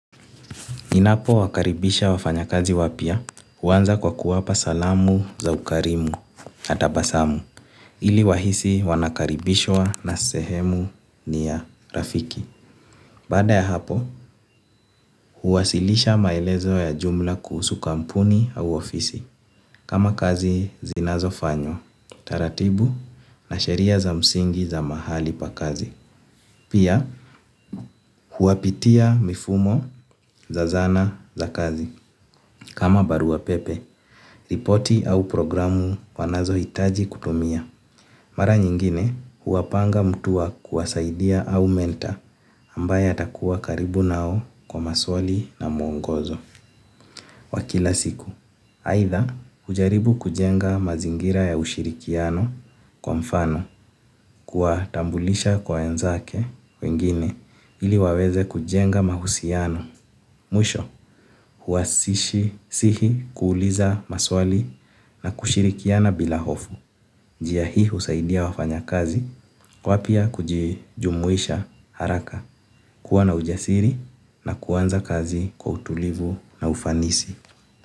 Ninapo wakaribisha wafanya kazi wapya huanza kwa kuwapa salamu za ukarimu na tabasamu ili wahisi wanakaribishwa na sehemu ni ya rafiki. Bada ya hapo huwasilisha maelezo ya jumla kuhusu kampuni au ofisi kama kazi zinazo fanywa, taratibu na sheria za msingi za mahali pa kazi. Pia huapitia mifumo za zana za kazi. Kama barua pepe ripoti au programu wanazo hitaji kutumia mara nyingine huwapanga mtu wa kuwasaidia au mentor ambaye atakuwa karibu nao kwa maswali na muongozo. Wakila siku, aitha hujaribu kujenga mazingira ya ushirikiano kwa mfano kuwatambulisha kwa wenzake wengine ili waweze kujenga mahusiano. Mwisho, huwasishi sihi kuuliza maswali na kushirikiana bila hofu. Njia hii husaidia wafanya kazi, wapya kujijumuisha haraka kuwana ujasiri na kuanza kazi kwa utulivu na ufanisi.